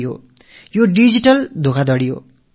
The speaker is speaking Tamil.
இது புது விதமான மோசடி இது டிஜிட்டல் மோசடி